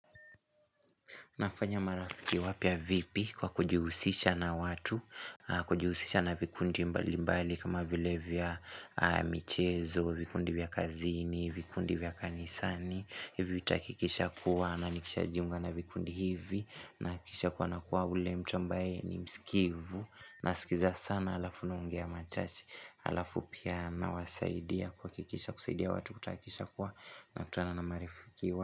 Unafanya marafiki wapya vipi kwa kujihusisha na watu, kujihusisha na vikundi mbali mbali kama vile vya michezo, vikundi vya kazini, vikundi vya kanisani. Hivyo itahakikisha kuwa na nikishajuinga na vikundi hivi na kisha kuwa na kuwa ule mtu ambaye ni msikivu na sikiza sana alafu naongea machache alafu pia nawasaidia kuhakikisha kusaidia watu kutakisha kuwa na kutana na marafiki wapya.